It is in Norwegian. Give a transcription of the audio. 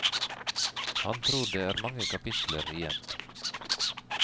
Han tror det er mange kapitler igjen.